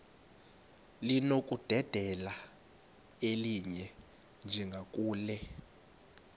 linokudedela elinye njengakule